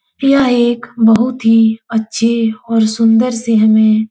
यह एक बहुत ही अच्छे और सुन्दर से हमें --